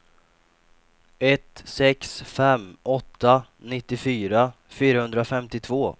ett sex fem åtta nittiofyra fyrahundrafemtiotvå